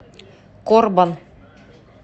корбан